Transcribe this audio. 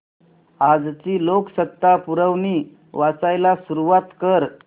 आजची लोकसत्ता पुरवणी वाचायला सुरुवात कर